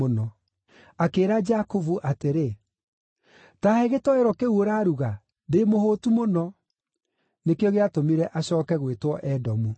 Akĩĩra Jakubu atĩrĩ, “Ta he gĩtoero kĩu ũraruga! Ndĩ mũhũtu mũno!” (Nĩkĩo gĩatũmire acooke gwĩtwo Edomu.)